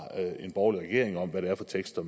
en borgerlig regering om hvad det er for tekster